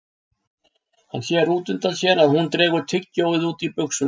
Hann sér út undan sér að hún dregur tyggjó út í buxur.